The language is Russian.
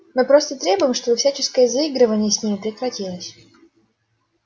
мы просто требуем чтобы всяческое заигрывание с ними прекратилось